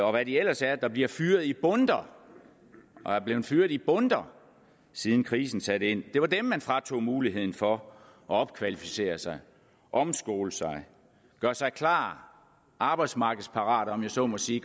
og hvad de ellers er der bliver fyret i bundter og er blevet fyret i bundter siden krisen satte ind det var dem man fratog muligheden for at opkvalificere sig omskole sig gøre sig klar arbejdsmarkedsparate om jeg så må sige